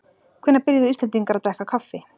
Hvenær byrjuðu Íslendingar að drekka kaffi?